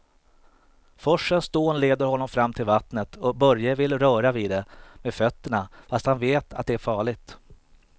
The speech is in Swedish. Forsens dån leder honom fram till vattnet och Börje vill röra vid det med fötterna, fast han vet att det är farligt.